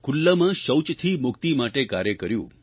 ખુલ્લામાં શૌચથી મુક્તિ માટે કાર્ય કર્યું